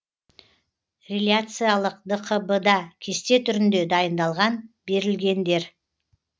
реляциялық дқб да кесте түрінде дайындалған берілгендер